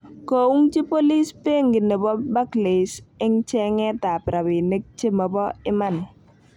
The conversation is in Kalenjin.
Koung'chi bolis benki nebo barclays en'g cheng'et ab rabinik chemobo iman